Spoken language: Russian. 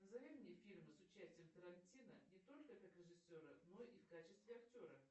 назови мне фильмы с участием тарантино не только как режиссера но и в качестве актера